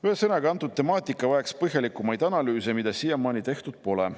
Ühesõnaga, antud temaatika vajaks põhjalikumaid analüüse, mida siiamaani tehtud pole.